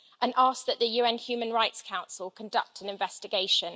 and asks that the UN Human Rights Council conduct an investigation.